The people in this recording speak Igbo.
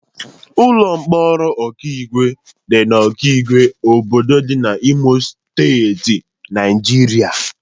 Ụlọ mkpọrọ Okigwe dị na Okigwe, obodo dị na Imo Steeti, Naijiria.